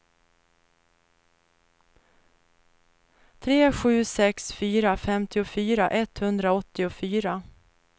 tre sju sex fyra femtiofyra etthundraåttiofyra